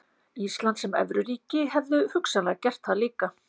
Ísland sem evruríki hefðu hugsanlega gert það líka.